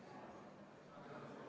Taavi Rõivas, palun!